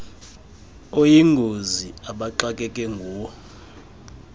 oyingozi abaxakeke nguwo